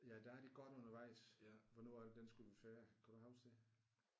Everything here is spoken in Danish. Ja der er de godt undervejs ja. Hvornår er det den skulle være færdig kan du huske det?